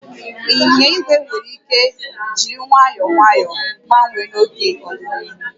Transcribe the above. Ịnyịnya igwe nwere ike jiri nwayọọ nwayọọ gbanwee n'ọdịnihu